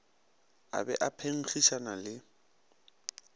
a be a phenkgišana le